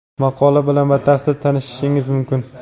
Maqola bilan batafsil tanishishingiz mumkin.